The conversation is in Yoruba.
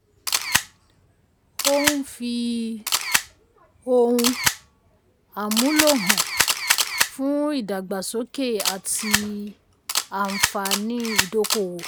ó ń fi um ohun um àmúlò hàn fún ìdàgbàsókè àti anfààní ìdókòwò.